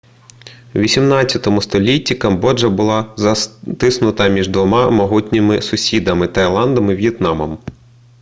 у 18 столітті камбоджа була затиснута між двома могутніми сусідами — таїландом і в'єтнамом